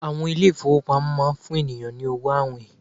àwọn ilé ifowópamọ́ ma n fún ènìyàn ni owo awìn